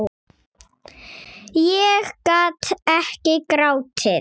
Ég gat ekki grátið.